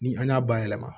Ni an y'a bayɛlɛma